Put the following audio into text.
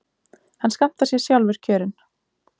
Hann skammtar sér sjálfur kjörin.